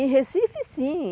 Em Recife, sim.